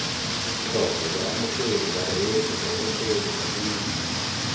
tlhoko baamogedi bareetsi babogedi babuisi